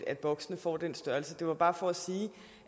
at boksene får den størrelse det var bare for